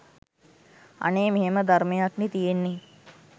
‘අනේ මෙහෙම ධර්මයක්නෙ තියෙන්නේ.